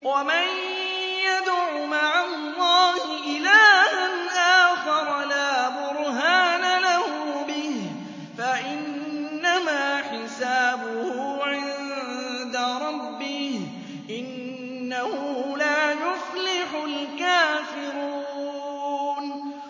وَمَن يَدْعُ مَعَ اللَّهِ إِلَٰهًا آخَرَ لَا بُرْهَانَ لَهُ بِهِ فَإِنَّمَا حِسَابُهُ عِندَ رَبِّهِ ۚ إِنَّهُ لَا يُفْلِحُ الْكَافِرُونَ